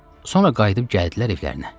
Sonra qayıdıb gəldilər evlərinə.